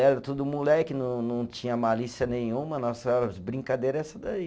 Era tudo moleque, não não tinha malícia nenhuma, nossas brincadeira é essa daí.